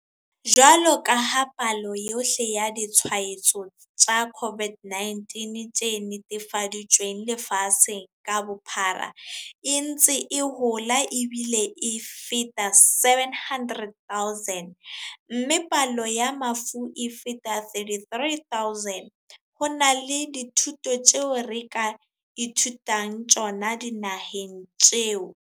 Jwalo ka ha palo yohle ya ditshwaetso tsa COVID-19 tse netefaditsweng lefatshe ka bophara e ntse e hola ebile e feta 700 000, mme palo ya mafu e feta 33 000, ho na le dithuto tseo re ka ithutang tsona dinaheng tseo.